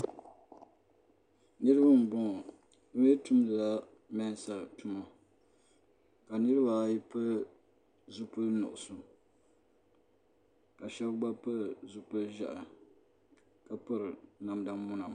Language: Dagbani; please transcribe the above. Niriba mboŋɔ bɛ mee tumdila mensa tuma ka niriba ayi pili zipili nuɣuso ka Sheba gba pili zipil'ʒehi ka piri namda muna.